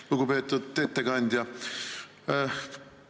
Lugupeetud ettekandja!